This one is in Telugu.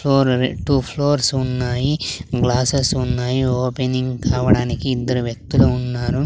ఫోర్ అరే టు ఫ్లోర్స్ ఉన్నాయి గ్లాసెస్ ఉన్నాయి ఓపెనింగ్ కావడానికి ఇద్దరు వ్యక్తులు ఉన్నారు.